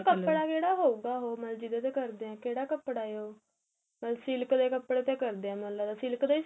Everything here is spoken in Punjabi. ਮਤਲਬ ਕੱਪੜਾ ਕਿਹੜਾ ਹਉਗਾ ਉਹ ਜਿਹਦੇ ਤੇ ਕਰਦੇ ਹੈ ਕਿਹੜਾ ਕੱਪੜਾ ਏ ਉਹ silk ਦੇ ਕੱਪੜੇ ਦੇ ਕਰਦੇ ਏ ਮੈਨੂੰ ਲੱਗਦਾ silk ਦਾ